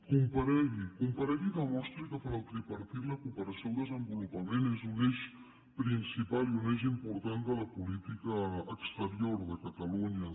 comparegui comparegui i demostri que per al tripartit la cooperació al desenvolupament és un eix principal i un eix important de la política exterior de catalunya